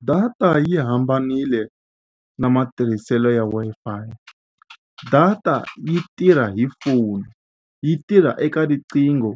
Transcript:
Data yi hambanile na matirhiselo ya Wi-Fi. Data yi tirha hi foni yi tirha eka riqingho